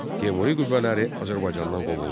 Teymuri qüvvələri Azərbaycandan qovuldu.